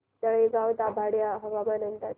तळेगाव दाभाडे हवामान अंदाज